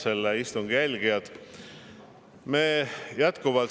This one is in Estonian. Head istungi jälgijad!